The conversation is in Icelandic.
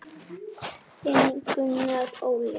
Þinn Gunnar Óli.